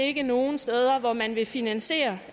ikke nogen steder hvor man vil finansiere